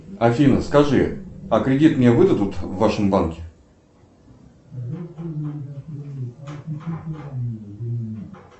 афина скажи а кредит мне выдадут в вашем банке